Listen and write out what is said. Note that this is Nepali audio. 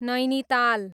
नैनिताल